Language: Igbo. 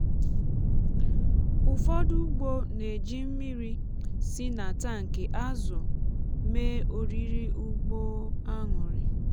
ụfọdụ ugbo na-eji mmiri si na tankị azụ mee oriri ugbo aṅụrị.